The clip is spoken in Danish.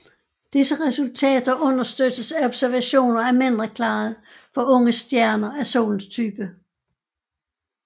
Disse resultater understøttes af observationer af mindre klarhed for unge stjerner af solens type